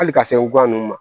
Hali ka se wɔ nunnu ma